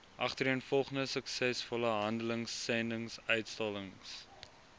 agtereenvolgende suksesvolle handelsendinguitstallings